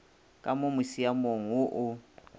ka mo musiamong wo o